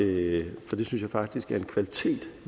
det synes jeg faktisk er en kvalitet